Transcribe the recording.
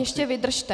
Ještě vydržte...